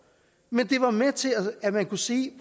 men det var med til at man kunne sige